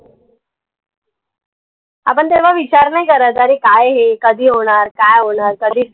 आपन तेवा विचार नाई करत अरे काय हे कधी होणार? काय होणार? कधी